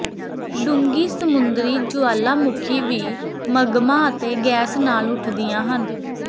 ਡੂੰਘੀ ਸਮੁੰਦਰੀ ਜੁਆਲਾਮੁਖੀ ਵੀ ਮਗਮਾ ਅਤੇ ਗੈਸ ਨਾਲ ਉੱਠਦੀਆਂ ਹਨ